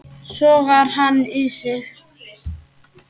Sogar hann í sig.